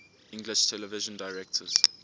english television directors